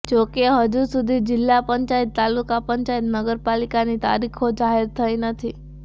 જો કે હજુ સુધી જીલ્લા પંચાયત તાલુકા પંચાયત નગરપાલિકાની તારીખો જાહેર થઈ નથી